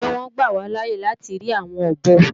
Ṣé wọn ó gbà wá láàye láti ri àwọn ọ̀bọ?